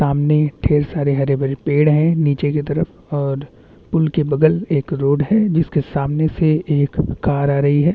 सामने ढेर सारे हरे-भरे पेड़ है नीचे की तरफ और उनके बगल एक रोड है जिसके सामने से एक कार आ रही है।